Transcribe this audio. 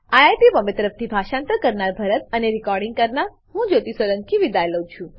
IIT Bombay તરફથી હું ભરતભાઈ સોલંકી વિદાય લઉં છું